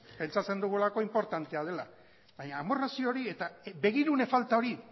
pentsatzen dugulako inportantea dela baina amorrazio hori eta begirune falta hori